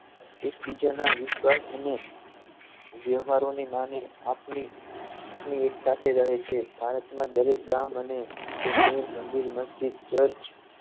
એકબીજાના વિશ્વાસ અને વ્યવહારોની માને આપને આપની એક સાથે રહે છે ભારતમાં દરેક ગામ અને તે શહેર મંદિર મસ્જિદ ચર્ચ